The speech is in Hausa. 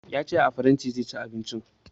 Ya ce a faranti zai ci abinci